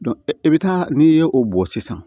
e bɛ taa n'i ye o bɔn sisan